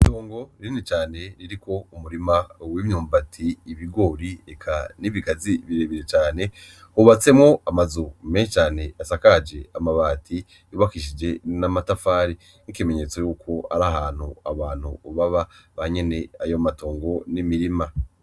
Itongo ririni cane ririko umurima uw'imyumbati, ibigori, eka n'ibigazi birebire cane hubatsemwo amazu menshi cane asakaje amabati bubakishije n'amatafari nk'ikimenyetso yuko ari ahantu abantu baba banyene ayo matongo n'imirima.